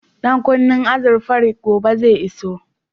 Ɗan kunnen azurfar gobe zai iso